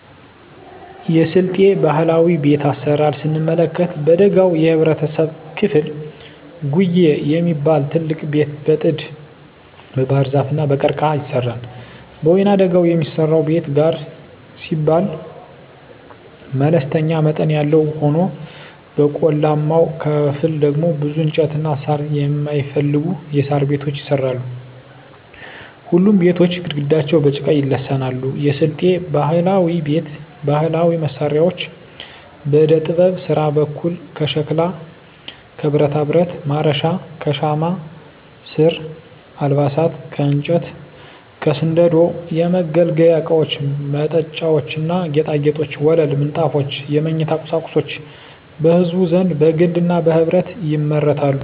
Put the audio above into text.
የስልጤ ባህላዊ ቤት አሰራር ስንመለከት በደጋው የህብረተሰብ ክፍል ጉዬ የሚባል ትልቅ ቤት በጥድ, በባህርዛፍ እና በቀርቀሀ ይሰራል። በወይናደጋው የሚሰራው ቤት ጋር ሲባል መለስተኛ መጠን ያለው ሆኖ በቆላማው ክፍል ደግሞ ብዙ እንጨትና ሳር የማይፈልጉ የሣር ቤቶች ይሰራሉ። ሁሉም ቤቶች ግድግዳቸው በጭቃ ይለሰናሉ። የስልጤ ባህላዊ ቤት ባህላዊ መሳሪያዎች በዕደጥበብ ስራ በኩል ከሸክላ ከብረታብረት (ማረሻ) ከሻማ ስራ አልባሳት ከእንጨት ከስንደዶ የመገልገያ እቃወች መጠጫዎች ና ጌጣጌጦች ወለል ምንጣፎች የመኝታ ቁሳቁሶች በህዝቡ ዘንድ በግልና በህብረት ይመረታሉ።